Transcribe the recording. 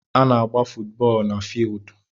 Ana agba footu bóólú na fieeldu